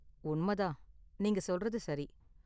உண்மை தான், நீங்க சொல்றது சரி.